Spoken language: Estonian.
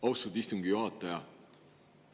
Austatud istungi juhataja!